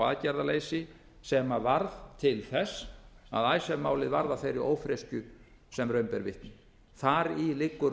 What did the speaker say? aðgerðaleysi sem varð til þess að icesave málið varð að þeirri ófreskju sem raun ber vitni þar í liggur